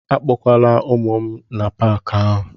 Akpọkwala ụmụ m n'Paakị ahụ!